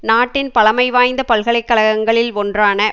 நாட்டின் பழமை வாய்ந்த பல்கலை கழகங்களில் ஒன்றான